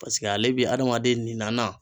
Paseke ale bi adamaden nin na na